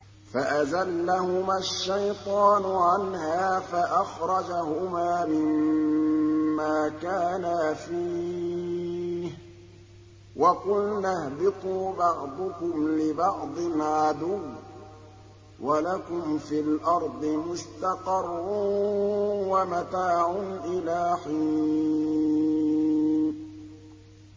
فَأَزَلَّهُمَا الشَّيْطَانُ عَنْهَا فَأَخْرَجَهُمَا مِمَّا كَانَا فِيهِ ۖ وَقُلْنَا اهْبِطُوا بَعْضُكُمْ لِبَعْضٍ عَدُوٌّ ۖ وَلَكُمْ فِي الْأَرْضِ مُسْتَقَرٌّ وَمَتَاعٌ إِلَىٰ حِينٍ